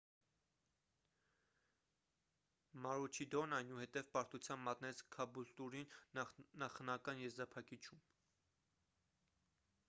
մարուչիդորն այնուհետև պարտության մատնեց քաբուլտուրին նախնական եզրափակիչում